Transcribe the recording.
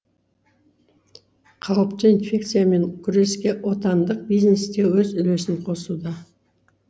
қауіпті инфекциямен күреске отандық бизнес те өз үлесін қосуда